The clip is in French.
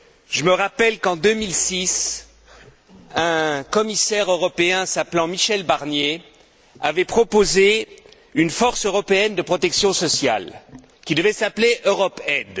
Je me rappelle qu'en 2006, un commissaire européen s'appelant Michel Barnier avait proposé la création d'une force européenne de protection sociale, qui devait s'appeler EuropeAid.